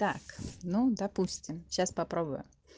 так ну допустим сейчас попробую